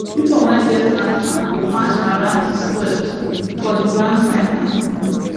people wey get animals go march around the square too for the grand finale